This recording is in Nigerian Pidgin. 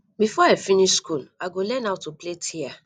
before i finish skool i go learn how to plait hear